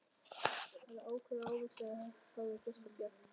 Hann var ákaflega hávaxinn og hárið geislandi bjart.